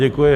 Děkuji.